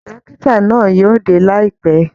Dọ́kítá náà yóò dé laipẹ.